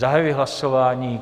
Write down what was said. Zahajuji hlasování.